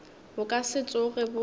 bo ka se tsoge bo